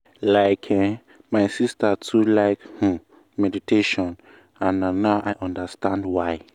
like eh my sister too like umm meditation and na now i understand why.